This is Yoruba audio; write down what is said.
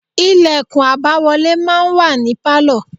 Lẹ̀kùn àbáwọlé máa ń wà ní Pálọ̀.